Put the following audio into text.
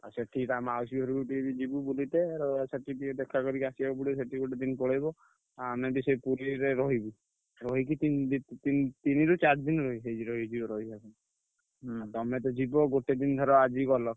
ଆଉ ସେଠି ତା ମାଉସୀ ଘରୁକୁ ଟିକେ ଯିବୁ ବୁଲିତେ ର ସେଠି ଟିକେ ଦେଖା କରିକି ଆସିଆକୁ ପଡିବ। ସେଠି ଗୋଟେ ଦିନ୍ ପଳେଇବ। ଆମେ ବି ସେଇ ପୁରୀରେ ରହିବୁ। ରହିକି ଦି ତିନ ତି ତିନିରୁ ଚାରି ଦିନି ରହି ସେଇ ହୁଁ ତମେତ ଯିବ ଗୋଟେ ଦିନ ଧର ଆଜି ଗଲ